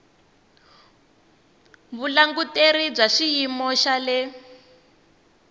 vulanguteri bya xiyimo xa le